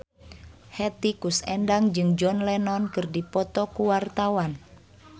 Hetty Koes Endang jeung John Lennon keur dipoto ku wartawan